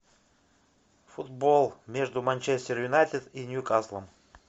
футбол между манчестер юнайтед и ньюкасл